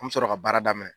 An bɛ sɔrɔ ka baara daminɛ